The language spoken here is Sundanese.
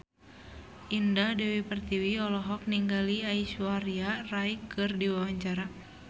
Indah Dewi Pertiwi olohok ningali Aishwarya Rai keur diwawancara